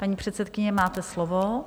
Paní předsedkyně, máte slovo.